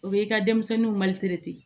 O bɛ i ka denmisɛnninw ma